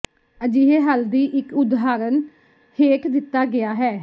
ਅਜਿਹੇ ਹੱਲ ਦੀ ਇੱਕ ਉਦਾਹਰਨ ਹੇਠ ਦਿੱਤਾ ਗਿਆ ਹੈ